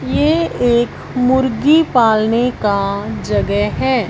ये एक मुर्गी पालने का जगह है।